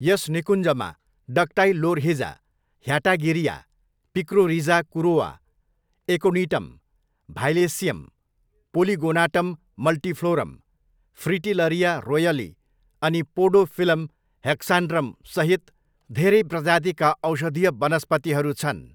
यस निकुञ्जमा Dactylorhiza hatagirea, Picrorhiza kurroa, Aconitum violaceum, Polygonatum multiflorum, Fritillaria roylei अनि पोडोफिलम हेक्सान्ड्रमसहित धेरै प्रजातिका औषधीय वनस्पतिहरू छन्।